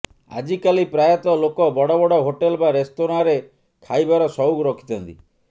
ଆଜି କାଲି ପ୍ରାୟତଃ ଲୋକ ବଡ଼ବଡ଼ ହୋଟେଲ ବା ରେସ୍ତୋରାଁରେ ଖାଇବାର ସଉକ ରଖିଥାନ୍ତି